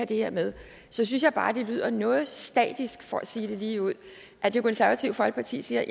det her med så synes jeg bare at det lyder noget statisk for at sige det ligeud at det konservative folkeparti siger